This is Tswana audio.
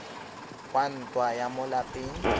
wa ntwa ya mo lapeng